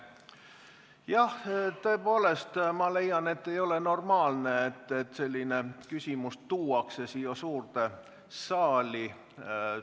Jah, ma tõepoolest leian, et ei ole normaalne, et selline küsimus tuuakse siia suurde saali.